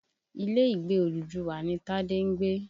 Ilé Ìgbé Odùduwà ni Tádé ń gbé.